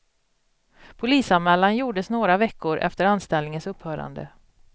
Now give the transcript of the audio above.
Polisanmälan gjordes några veckor efter anställningens upphörande.